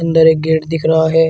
उधर एक गेट दिख रहा है।